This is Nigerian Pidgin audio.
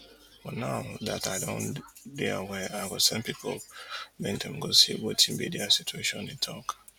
but now dat i don dey aware i go send pipu make dem go see wetin be dia situation e tok